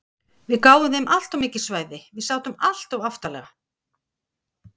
Við gáfum þeim alltof mikil svæði, við sátum alltof aftarlega.